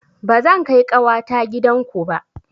Ba zan kai ƙawata gidan ku ba